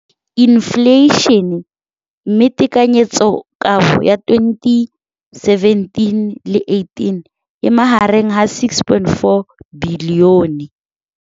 Infleišene, mme tekanyetsokabo ya 2017, 18, e magareng ga R6.4 bilione.